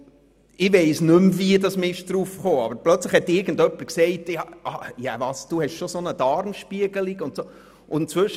Und ich weiss nicht mehr, wie wir auf das Thema gekommen sind, aber plötzlich hat jemand gesagt: «Was, du hast schon so eine Darmspiegelung gemacht?